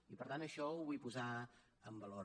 i per tant això ho vull posar en valor